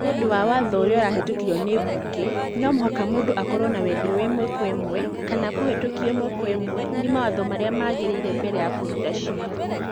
Nĩ ũndũ wa watho ũria ũrahĩtũkirio ni mbunge, no mũhaka mũndũ akorũo na wendi wa ĩmwe kwa ĩmwe kana kũhutio ĩmwe kwa ĩmwe ni mawatho marĩa magĩrĩire mbere ya kũruta cira.